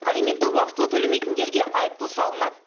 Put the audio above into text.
алиментті уақытылы төлемейтіндерге айыппұл салынады